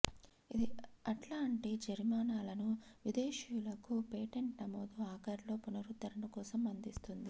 ఇది అట్లాంటి జరిమానాలను విదేశీయులకు పేటెంట్ నమోదు ఆఖరిలో పునరుద్ధరణ కోసం అందిస్తుంది